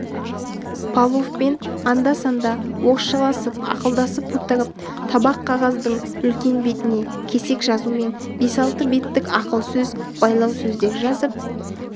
павловпен анда-санда орысшаласып ақылдасып отырып табақ қағаздың үлкен бетіне кесек жазумен бес-алты беттік ақыл сөз байлау сөздер жазып